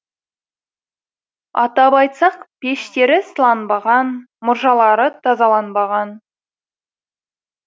атап айтсақ пештері сыланбаған мұржалары тазаланбаған